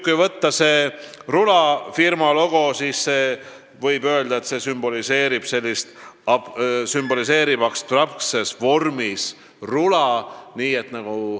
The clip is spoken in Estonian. Kui võtta selle rulafirma logo, siis võib öelda, et see sümboliseerib abstraktsel moel rula.